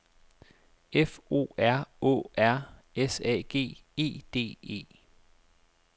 F O R Å R S A G E D E